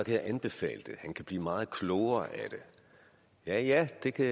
jeg anbefale det han kan blive meget klogere af det ja ja det kan